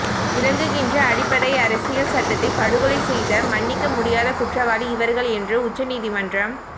விளங்குகின்ற அடிப்படை அரசியல் சட்டத்தை படுகொலை செய்த மன்னிக்க முடியாத குற்றவாளி இவர்கள் என்று உச்சநீதிமன்றம்